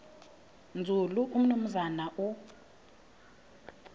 nzulu umnumzana u